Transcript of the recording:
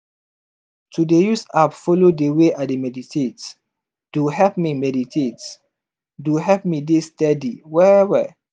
to dey use app follow dey way i dey meditate do help meditate do help me dey steady well well.